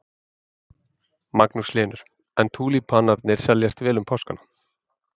Magnús Hlynur: En túlípanarnir seljast vel um páskana?